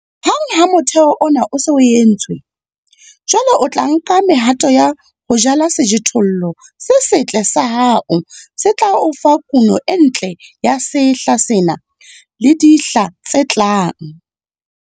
Hang ha motheho ona o se o entswe, jwale o ka nka mehato ya ho jala sejothollo se setle sa hao se tla o fa kuno e ntle ya sehla sena le dihla tse tlang.